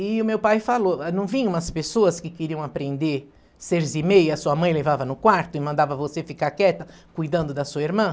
E o meu pai falou, ah, não vinha umas pessoas que queriam aprender cerzir meia, sua mãe levava no quarto e mandava você ficar quieta cuidando da sua irmã?